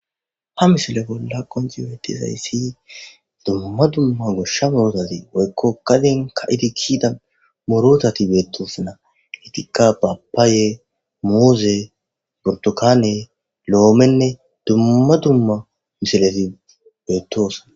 Ha misile bolla qonciwetizayssi dumma dumma goshsha murootazi woykko kaden ka idikida morotati beettoosana etikka babaaye mooze burtokaane lo7oomenne dumma dumma misilefi beettoosana.